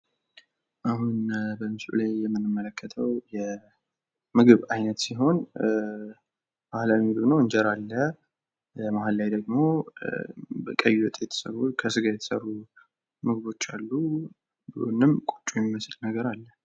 አሁን ምስሉ ላይ የምንመለከተው የምግብ አይነት ሲሆን ባህላዊ ምግብ ነው። እንጀራ አለ መሃል ላይ ደግሞ ቀይ ወጥ የተሰሩ፤ ከስጋ የተሰሩ ምግቦች አሉ። ከጎንም ቆጮ የሚመስል ነገር አለ።